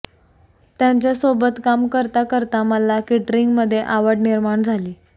त्यांच्यासोबत काम करता करता मला केटरिंगमध्ये आवड निर्माण झाली